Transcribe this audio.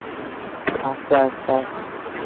যখন মানে আমার প্রতি